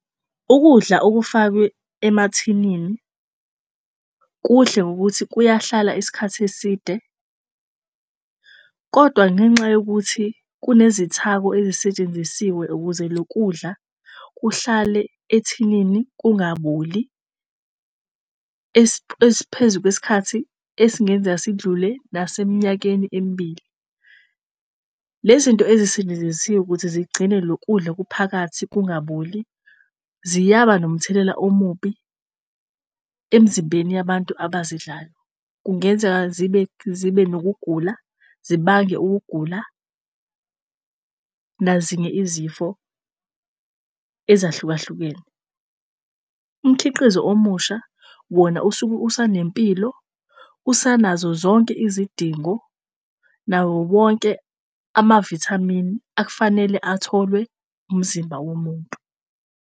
Ukudla okufakwe emathinini kuhle ngokuthi kuyahlala isikhathi eside, kodwa ngenxa yokuthi kunezithako ezisetshenzisiwe ukuze lokudla kuhlale ethinini kungaboli. Esiphezu kwesikhathi esingenzeka sidlule nase mnyakeni emibili. Le zinto ezisetshenzisiwe ukuthi zigcine lokudla okuphakathi kungaboli ziyaba nomthelela omubi emzimbeni yabantu abazidlayo. Kungenzeka zibe nokugula, zibange ukugula nazinye izifo ezahlukahlukene. Umkhiqizo omusha wona usuke usanempilo usanazo zonke izidingo nawowonke amavithamini ak'fanele atholwe umzimba womuntu.